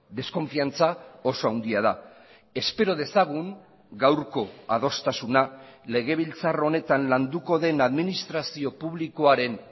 deskonfiantza oso handia da espero dezagun gaurko adostasuna legebiltzar honetan landuko den administrazio publikoaren